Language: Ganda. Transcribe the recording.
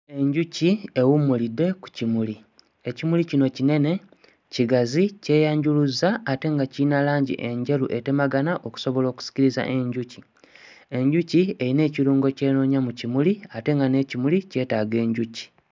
Enjuki ewummulidde ku kimuli. Ekimuli kino kinene, kigazi, kyeyanjuluzza ate nga kiyina langi enjeru etemagana okusobola okusikiriza enjuki. Enjuki eyina ekirungo ky'enoonya mu kimuli ate nga n'ekimuli kyetaaga enjuki.